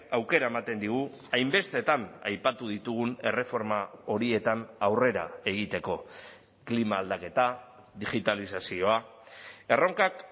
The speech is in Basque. aukera ematen digu hainbestetan aipatu ditugun erreforma horietan aurrera egiteko klima aldaketa digitalizazioa erronkak